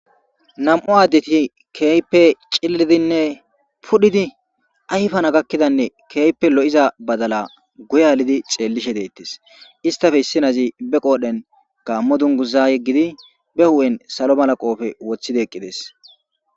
Nam'u addeti keype cillidinne pudhidi ayfana gakkidanne keeype lo'iza badala guyealidi xeellishe deettes istafe issinazi be qoodhen gammo dunguza yeggidi be hu'en salo malaqofe woththidi eqqides.